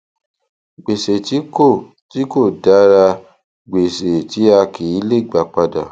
gbèsè tí kò tí kò dára gbèsè tí a kì í lè gba padà